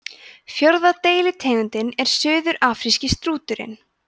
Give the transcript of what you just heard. fjórða deilitegundin er suðurafríski strúturinn